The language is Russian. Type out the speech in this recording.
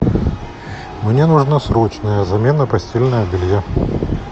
мне нужна срочная замена постельного белья